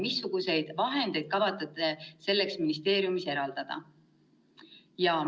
Missuguseid vahendeid kavatsete selleks ministeeriumis eraldada?